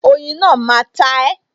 Oyin náà máa ta e